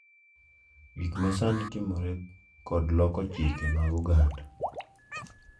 Gik ma sani timore kod loko chike mag oganda